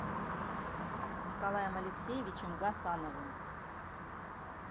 николаем алексеевичем гасановым